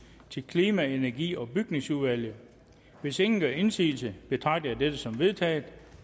til klima energi og bygningsudvalget hvis ingen gør indsigelse betragter jeg dette som vedtaget